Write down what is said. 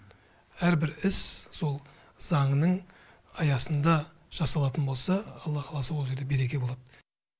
әр бір іс сол заңның аясында жасалатын болса алла қаласа ол жерде береке болады